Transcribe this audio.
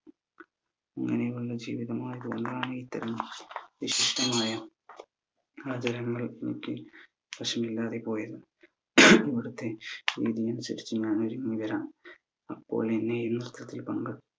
ഇങ്ങനെയുള്ള ജീവിതം ആയത് കൊണ്ടാണ് ഇത്തരം വിശിഷ്ടമായ ആചാരങ്ങൾ എനിക്ക് അറിവില്ലാതെ പോയതെന്നു ഇവിടുത്തെ അപ്പോൾ എന്നെ